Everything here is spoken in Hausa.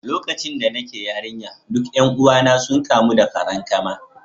Lokacin da nake yarinya, duk 'yan uwana sun kamu da farankama